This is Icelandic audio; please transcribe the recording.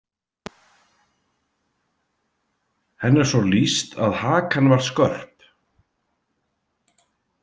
Henni er svo lýst að hakan var skörp.